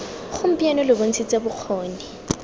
gompieno lo bont shitse bokgoni